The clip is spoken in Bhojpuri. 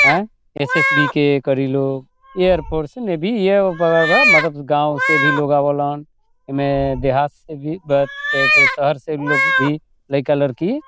ए एस.एस.बी. के करीलो एयरफोर्स में गांव से भी लोग आवेलन एमे देहात से भी शहर से भी लोग भी लाइका-लयकी --